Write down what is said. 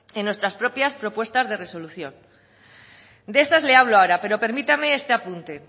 en nuestras propias propuestas de resolución de estas le hablo ahora pero permítame este apunte